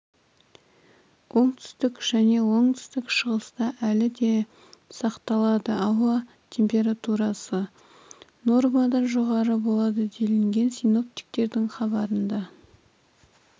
оңтүстік және оңтүстік шығыста әлі де сақталады ауа температурасы нормадан жоғары болады делінген синоптиктердің хабарында